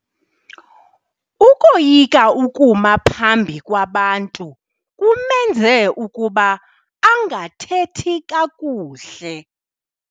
Ukoyika ukuma phambi kwabantu kumenze ukuba angathethi kakuhle.